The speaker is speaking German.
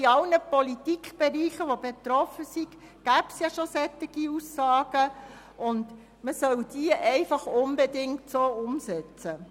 Es gäbe bereits in allen betroffenen Politikbereichen solche Aussagen, und man solle diese einfach unbedingt so umsetzen.